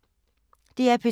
DR P2